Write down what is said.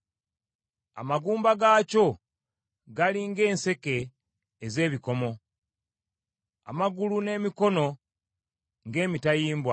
Amagumba gaakyo gali ng’enseke ez’ebikomo; amagulu n’emikono ng’emitayimbwa.